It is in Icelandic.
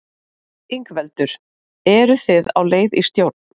Ingveldur: Eru þið á leið í stjórn?